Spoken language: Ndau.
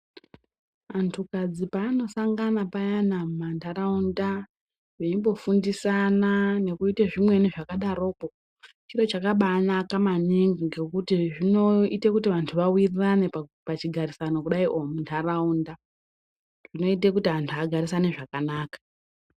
Antu kadzi paanosangana payani mumantaraunda veimbofundisana nekuita zvimweni zvakadaroko chiro chakabanaka maningi ngekuti zvinoita kuti vantu vawirirane pachigarisano muntaraunda. Zvinote kuti antu agarisane zvakanaka.